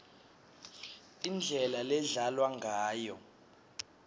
indlela ledlalwa ngayo